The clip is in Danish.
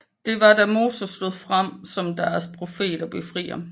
Det var da Moses stod frem som deres profet og befrier